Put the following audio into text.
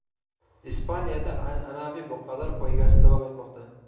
Ispaniyada an’anaviy buqalar poygasi davom etmoqda.